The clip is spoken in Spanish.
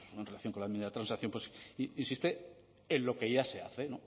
pues en relación con la enmienda de transacción insiste en lo que ya se hace